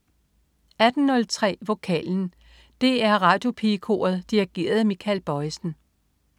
18.03 Vokalen. DR Radioopigekoret dirigeret af Michael Bojesen